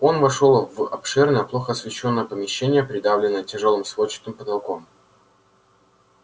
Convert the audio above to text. он вошёл в обширное плохо освещённое помещение придавленное тяжёлым сводчатым потолком